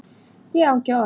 Ég á ekki orð